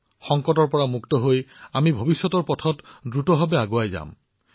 আমি সংকটৰ পৰা মুক্ত হৈ ভৱিষ্যতৰ পথত যিমান পাৰি দ্ৰুত গতিত আগবাঢ়িম